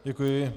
Děkuji.